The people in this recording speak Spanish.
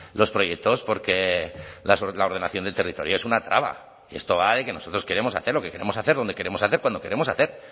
los proyectos porque la ordenación del territorio es una traba y esto va de que nosotros queremos hacer lo que queremos hacer donde queremos hacer cuando queremos hacer